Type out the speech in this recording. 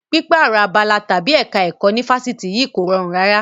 Pípààrọ̀ abala tàbí ẹ̀ka ẹ̀kọ́ ní Fáṣítì yìí kò rọrùn rárá.